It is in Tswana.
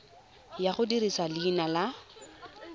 ya go dirisa leina la